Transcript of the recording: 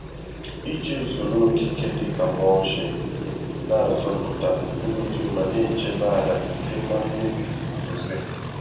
Iji usoro okike dị ka mulching na-azọpụta mmiri ma na-echebe ala site na mmebi mbuze.